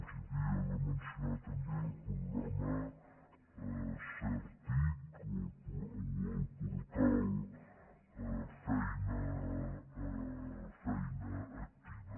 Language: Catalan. els havia de mencionar també el programa certic o el portal feina activa